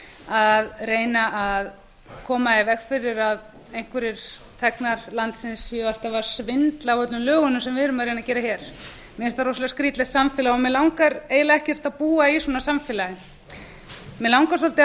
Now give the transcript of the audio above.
að reyna að koma í veg fyrir að einhverjir þegnar landsins séu alltaf að svindla á öllum lögunum sem við erum að reyna að gera mér finnst það rosalega skrýtilegt samfélag mig langar eiginlega ekkert að búa í svona samfélagi mig langar svolítið að